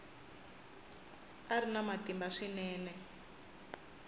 a ri na matimba swinene